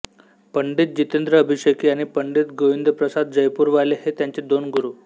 पंडित जितेंद्र अभिषेकी आणि पंडित गोविंदप्रसाद जयपूरवाले हे त्यांचे दोन गुरु